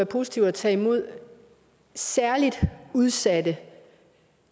positivt at tage imod særligt udsatte